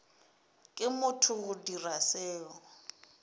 ke motho go dira seo